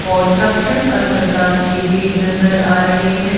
और तक्षक अस्पताल की भी नजर आ रही है।